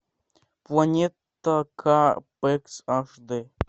планета ка пэкс аш дэ